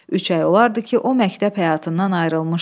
Üç ay olardı ki, o məktəb həyatından ayrılmışdı.